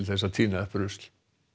þess að tína upp rusl